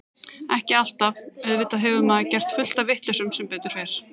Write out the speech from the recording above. Ekki alltaf, auðvitað hefur maður gert fullt af vitleysum sem betur fer.